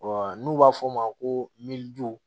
n'u b'a fɔ o ma ko miliyɔn